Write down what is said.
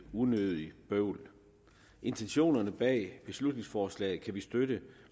unødigt bøvl intentionerne bag beslutningsforslaget kan vi støtte